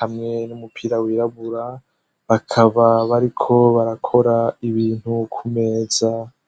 hamwe n'umupira wirabura bakaba bari ko barakora ibintu kumeza.